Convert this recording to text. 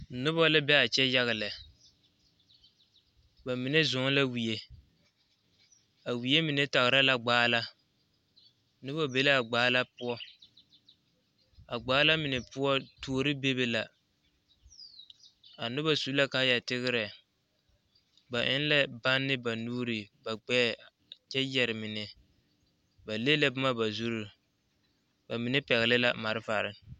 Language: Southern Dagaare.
Noba la be a kyɛ yaga lɛ ba mine zɔɔɛ wie a wie mine tagra la gbaala noba be la a gbaala poɔ a gbaala mine poɔ tuore bebe la a noba su la kaaya tigrɛ ba eŋ la banne ba nuuri ba gbɛɛ kyɛ yɛre mine ba leŋ la boma ba zuri ba mine pɛgle la malfare.